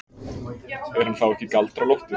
Er hann þá ekki Galdra-Loftur?